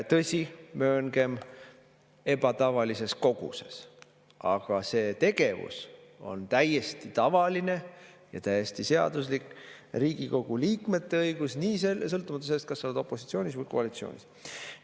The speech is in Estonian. Tõsi, mööngem, et ebatavalises koguses, aga see tegevus on täiesti tavaline ja täiesti seaduslik Riigikogu liikmete õigus, sõltumata sellest, kas sa oled opositsioonis või koalitsioonis.